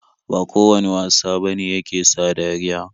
Ba kowane wasa bane yake sa dariya.